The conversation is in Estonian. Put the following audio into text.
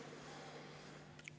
Mis on teie vaade sellele?